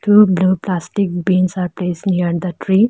Two blue plastic bins are place near the tree.